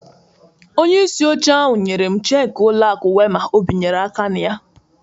Onye isi oche ahụ nyerem cheki ụlọ akụ Wema o bịnyere aka na ya